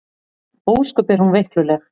Ósköp er hún veikluleg.